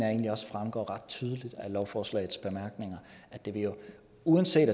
egentlig også fremgår ret tydeligt af lovforslagets bemærkninger uanset